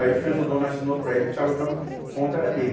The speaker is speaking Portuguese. Aí fez o dono, assinou para ele, que estava dando o ponto, era dele.